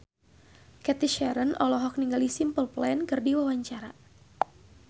Cathy Sharon olohok ningali Simple Plan keur diwawancara